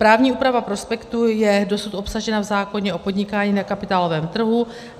Právní úprava prospektu je dosud obsažena v zákoně o podnikání na kapitálovém trhu.